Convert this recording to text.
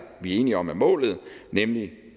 enige om er målet nemlig